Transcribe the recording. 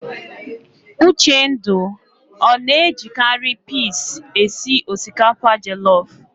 Uchendu ọ na-ejikarị pis esi osikapa jelọf?